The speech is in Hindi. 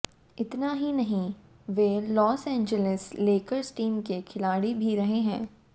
इतना ही नहीं वे लॉस एंजेलिस लेकर्स टीम के खिलाड़ी भी रहे हैं